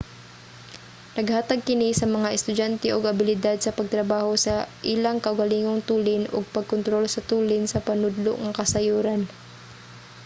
naghatag kini sa mga estudyante og abilidad sa pagtrabaho sa ilang kaugalingong tulin ug pag-kontrol sa tulin sa panudlo nga kasayuran